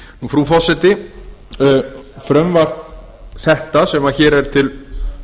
frú forseti frumvarp það sem nú er til